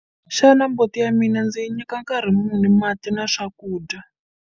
Xana mbuti ya mina ndzi yi nyika nkarhi mati na swakudya?